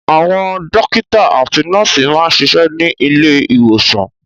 Àwọn dọ́kítá àti nọ́ọ́sì máa ń ṣiṣẹ́ ní ilé-ìwòsàn.